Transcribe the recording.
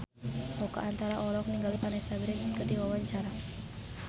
Oka Antara olohok ningali Vanessa Branch keur diwawancara